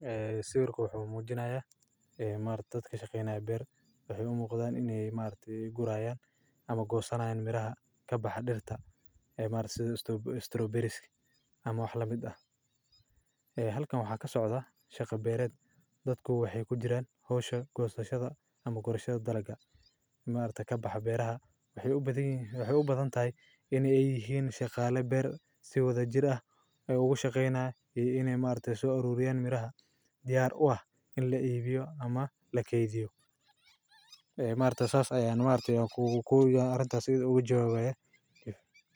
Eh, sawirkan wuxuu muujinayaa eh maartoodka shaqeynaa beer. Waxay u muuqdaan in ay maartii gurayaan ama goosanaan miraha ka bax dhirta eh maarsa sto-strawberries ama wax la mid ah. Eh halkaan waxaa ka socda shaqa beereed, dadku waxay ku jiraan hawsha, goostashada ama gurshada daraga. Maarta ka baxa beeraha. Waxay u badan yi- waxay u badan tahay inay ay yihiin shaqaalay beer si wada jir ah ay ugu shaqeynaa i-inay maarta soo uruuriyaan miraha diyaar u ah in la iibiyo ama la keydiyo. Eh maarta saas ayaan maartay oo kuugu kuugu arintas ugu joogaa.